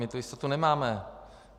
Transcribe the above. My tu jistotu nemáme.